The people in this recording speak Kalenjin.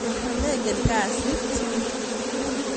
meken kasit